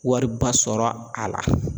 Wariba sɔrɔ a la